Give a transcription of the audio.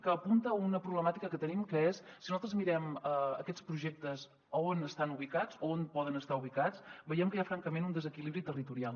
que apunta una problemàtica que tenim que és si nosaltres mirem aquests projectes a on estan ubicats a on poden estar ubicats veiem que hi ha francament un desequilibri territorial